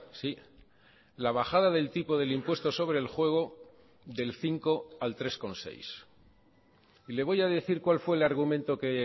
sí la bajada del tipo del impuesto sobre el juego del cinco al tres coma seis y le voy a decir cuál fue el argumento que